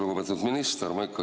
Lugupeetud minister!